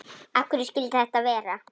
Af hverju skyldi þetta vera?